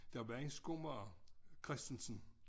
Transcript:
Der var en skomager Kristensen